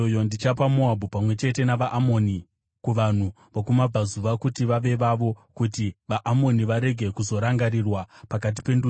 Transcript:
Ndichapa Moabhu pamwe chete navaAmoni kuvanhu vokuMabvazuva kuti vave vavo, kuti vaAmoni varege kuzorangarirwa pakati pendudzi;